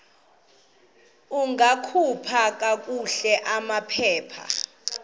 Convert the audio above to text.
ungakhupha kakuhle amaphepha